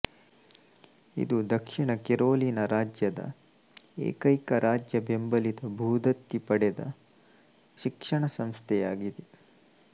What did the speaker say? ಇದು ದಕ್ಷಿಣ ಕೆರೊಲಿನಾ ರಾಜ್ಯದ ಏಕೈಕ ರಾಜ್ಯಬೆಂಬಲಿತ ಭೂದತ್ತಿ ಪಡೆದ ಶಿಕ್ಷಣಸಂಸ್ಥೆಯಾಗಿದೆ